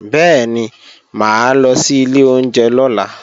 Bẹ́ẹ̀ni, mà á lọ sí ilé oúnjẹ lọ́la